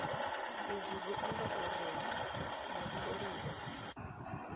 izwi zwi amba uri mutholiwa